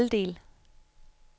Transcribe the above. halvdel